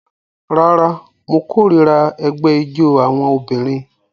Rárá, mo kórìíra ẹgbẹ́ ijó àwọn obìnrin